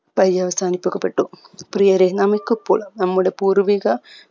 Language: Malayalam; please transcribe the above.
പര്യവസാനിക്കപെട്ടു പ്രിയരേ നമുക്കിപ്പോൾ നമ്മുടെ പൂർവിക